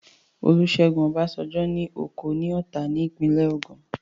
Olúṣẹ́gun Ọbásanjọ́ ní oko ní Ọ̀tà ní ìpínlẹ̀ Ògùn